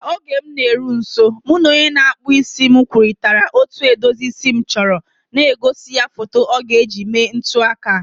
Ka oge m na-eru nso, mụ na onye na-akpụ isi m kwurịtara otú edozi isi m chọrọ, na-egosi ya foto ọ ga-eji mee ntụaka.